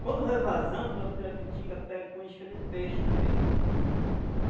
Quando vai vazando, a pirapitinga pega com isca de peixe também.